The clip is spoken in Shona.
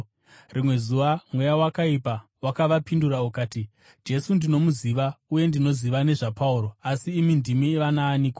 Rimwe zuva mweya wakaipa wakavapindura ukati, “Jesu ndinomuziva, uye ndinoziva nezvaPauro, asi imi ndimi vanaaniko?”